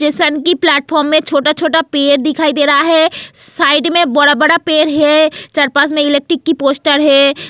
Station की platform में छोटा-छोटा पेयर दिखाई दे रहा है साइड में बड़ा-बड़ा पेयर है चारपास में इलेक्ट्रिक की पोस्टर है.